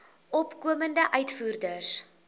opkomende uitvoerders